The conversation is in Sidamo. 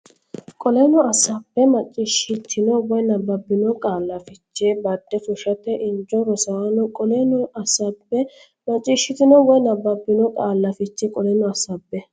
Qoleno assaabbe macciishshitino woy nabbabbino qaalla fiche bade fushshate injo rossanno Qoleno assaabbe macciishshitino woy nabbabbino qaalla fiche Qoleno assaabbe.